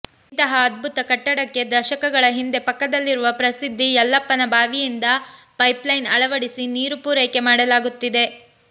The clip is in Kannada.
ಇಂತಹ ಅದ್ಭುತ ಕಟ್ಟಡಕ್ಕೆ ದಶಕಗಳ ಹಿಂದೆ ಪಕ್ಕದಲ್ಲಿರುವ ಪ್ರಸಿದ್ಧ ಯಲ್ಲಪ್ಪನ ಬಾವಿಯಿಂದ ಪೈಪ್ಲೈನ್ ಅಳವಡಿಸಿ ನೀರು ಪೂರೈಕೆ ಮಾಡಲಾಗುತ್ತಿದೆ